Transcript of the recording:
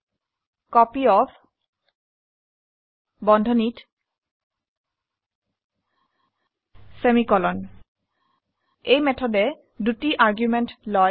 copyOfমাৰ্কছ 5 এই মেথডে দুটি আৰ্গুমেন্ট লয়